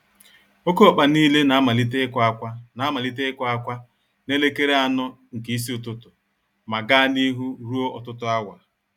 Oké ọkpa nile na-amalite ikwa-akwa na-amalite ikwa-akwa nelekere anọ nke ísì ụtụtụ, ma gaa n'ihu ruo ọtụtụ áwà